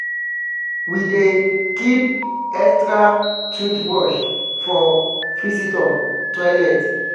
we dey keep extra toothbrush for visitor toilet.